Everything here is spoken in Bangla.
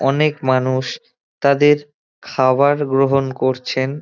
অনেক মানুষ তাদের খাওয়ার গ্রহণ করছেন।